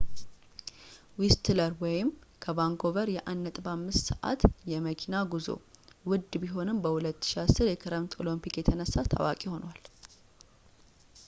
whistler ከvancouver የ1.5 ሰአት የመኪና ጉዞ ውድ ቢሆንም በ2010 የክረምት ኦሎምፒክ የተነሳ ታዋቂ ሆኗል